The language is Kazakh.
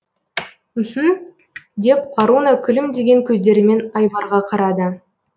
мһм деп аруна күлімдеген көздерімен айбарға қарады